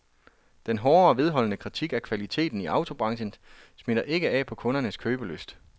Den hårde og vedholdende kritik af kvaliteten i autobranchen smitter ikke af på kundernes købelyst.